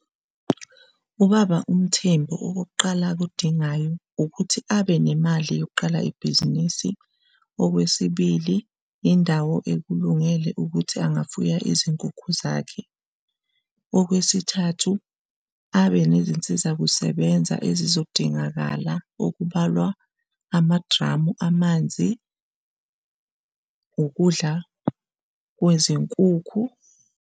Ubaba uMthembu okokuqala akudingayo ukuthi abe nemali yokuqala ibhizinisi, okwesibili, indawo ekulungele ukuthi angafuya izinkukhu zakhe, okwesithathu abenezinsiza kusebenza ezizodingakala okubalwa amadramu amanzi, ukudla kwezinkukhu.